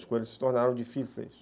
As coisas se tornaram difíceis.